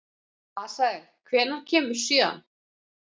Asael, hvenær kemur sjöan?